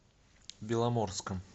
беломорском